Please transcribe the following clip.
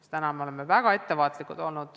Sest praegu me oleme olnud väga ettevaatlikud.